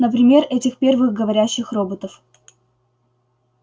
например этих первых говорящих роботов